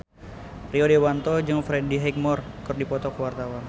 Rio Dewanto jeung Freddie Highmore keur dipoto ku wartawan